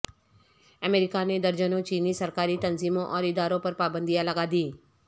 امریکا نے درجنوں چینی سرکاری تنظیموں اور اداروں پر پابندیاں لگا دیں